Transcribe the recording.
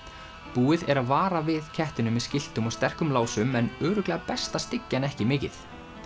búið er að vara við kettinum með skiltum og sterkum lásum en örugglega best að styggja hann ekki mikið